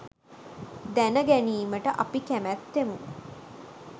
දැනගැනීමට අපි කැමැත්තෙමු.